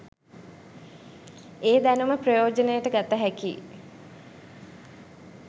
ඒ දැනුම ප්‍රයෝජනයට ගත හැකියි.